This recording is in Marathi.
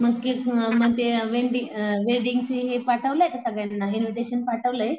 मग मग ते वेन्डडींग अअ वेडींग चे ते हे पाठवले का सगळ्यांना इन्व्हिटेशन पाठवले?